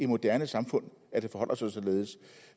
moderne samfund at det forholder sig således